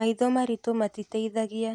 Maitho maritũ matiteithagia.